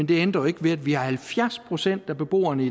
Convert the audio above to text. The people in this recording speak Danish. det ændrer jo ikke ved at vi har halvfjerds procent af beboerne